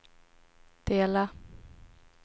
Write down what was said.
dela